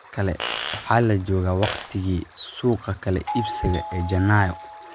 Mar kale waxaa la joogaa waqtigii suuqa kala iibsiga ee Janaayo.